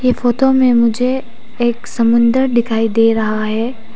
Photo में मुझे एक समुंदर दिखाई दे रहा है।